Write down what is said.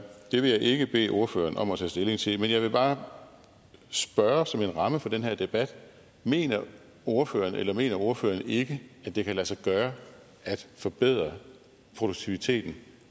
vil jeg ikke bede ordføreren om at tage stilling til men jeg vil bare spørge som en ramme for den her debat mener ordføreren eller mener ordføreren ikke at det kan lade sig gøre at forbedre produktiviteten